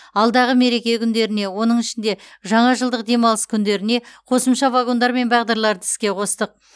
алдағы мереке күндеріне оның ішінде жаңажылдық демалыс күндеріне қосымша вагондар мен бағдарларды іске қостық